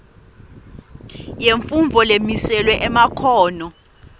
yemfundvo lemiselwe emakhono